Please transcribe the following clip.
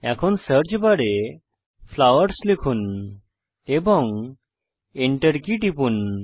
এখন সার্চ বারে ফ্লাওয়ারস লিখুন এবং Enter কী টিপুন